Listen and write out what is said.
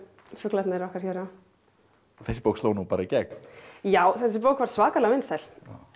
fuglarnir okkar Hjöra þessi bók sló nú bara í gegn já þessi bók var svakalega vinsæl